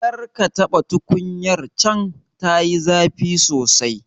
Karka taɓa tukunyar can, tayi zafi sosai.